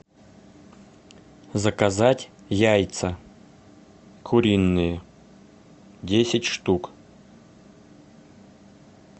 заказать яйца куриные десять штук